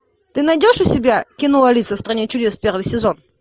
ты найдешь у себя кино алиса в стране чудес первый сезон